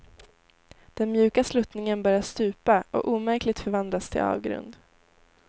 Den mjuka sluttningen börjar stupa och omärkligt förvandlas till avgrund.